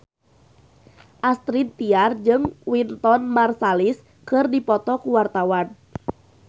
Astrid Tiar jeung Wynton Marsalis keur dipoto ku wartawan